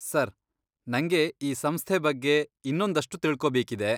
Sir, ನಂಗೆ ಈ ಸಂಸ್ಥೆ ಬಗ್ಗೆ ಇನ್ನೊಂದಷ್ಟು ತಿಳ್ಕೊಬೇಕಿದೆ.